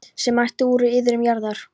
sem ættuð er úr iðrum jarðar.